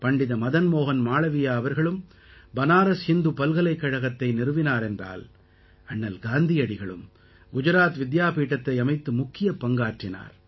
பண்டித மதன் மோஹன் மாளவியா அவர்களும் பனாரஸ் ஹிந்து பல்கலைக்கழகத்தை நிறுவினார் என்றால் அண்ணல் காந்தியடிகளும் குஜராத் வித்யாபீடத்தை அமைத்து முக்கிய பங்காற்றினார்